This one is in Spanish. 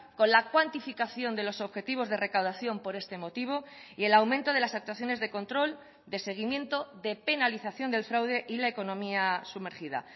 con la cuantificación de los objetivos de recaudación por este motivo y el aumento de las actuaciones de control de seguimiento de penalización del fraude y la economía sumergida